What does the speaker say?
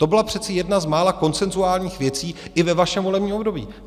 To byla přece jedna z mála konsenzuálních věcí i ve vašem volebním období.